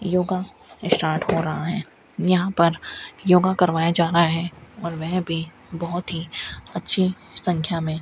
yoga start हो रहा है यहां पर योग करवाया जा रहा है और वह भी बहोत ही अच्छी संख्या में --